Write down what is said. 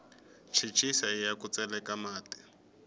chechisa iya ku tseleka mati